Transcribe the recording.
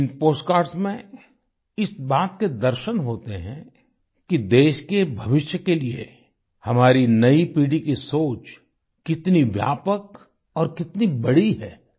इन postcards में इस बात के दर्शन होते हैं कि देश के भविष्य के लिए हमारी नई पीढ़ी की सोच कितनी व्यापक और कितनी बड़ी है